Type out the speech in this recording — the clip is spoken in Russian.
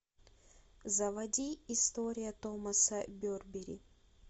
заводи история томаса берберри